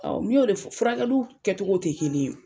Ɔn, n y'o de fɔ. Furakɛli kɛcogow te kelen ye.